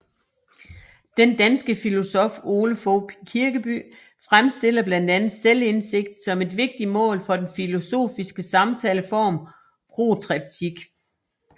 Den danske filosof Ole Fogh Kirkeby fremstiller blandt andet selvindsigt som et vigtigt mål for den filosofiske samtaleform protreptik